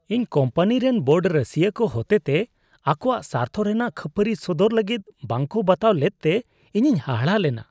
ᱤᱧ ᱠᱳᱢᱯᱟᱱᱤ ᱨᱮᱱ ᱵᱳᱨᱰ ᱨᱟᱹᱥᱤᱭᱟᱹ ᱠᱚ ᱦᱚᱛᱮᱛᱮ ᱟᱠᱚᱣᱟᱜ ᱥᱟᱨᱛᱷᱚ ᱨᱮᱱᱟᱜ ᱠᱷᱟᱹᱯᱟᱹᱨᱤ ᱥᱚᱫᱚᱨ ᱞᱟᱹᱜᱤᱫ ᱵᱟᱝᱠᱚ ᱵᱟᱛᱟᱣ ᱞᱮᱫᱛᱮ ᱤᱧᱤᱧ ᱦᱟᱦᱟᱲᱟᱜ ᱞᱮᱱᱟ ᱾